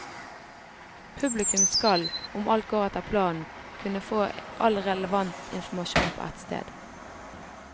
Publikum skal, om alt går etter planen, kunne få all relevant informasjon på ett sted.